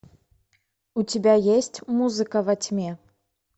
у тебя есть музыка во тьме